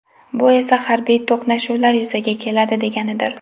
Bu esa harbiy to‘qnashuvlar yuzaga keladi deganidir.